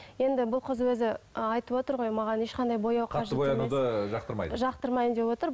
енді бұл қыз өзі айтыватыр ғой маған ешқандай бояу жақтырмаймын деп отыр